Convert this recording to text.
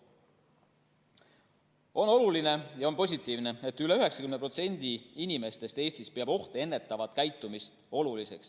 On oluline ja positiivne, et üle 90% inimestest Eestis peab ohte ennetavat käitumist oluliseks.